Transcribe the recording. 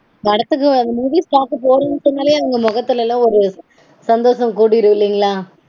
படத்துக்கு வரும்போது போறோம்னு சொன்னாலே அதுங்க மொகத்துலலாம் ஒரு சந்தோஷம் கூடிரும் இல்லீங்களா?